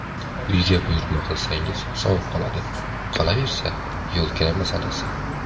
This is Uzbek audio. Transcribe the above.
Uyga buyurtma qilsangiz sovib qoladi, qolaversa, yo‘lkira masalasi.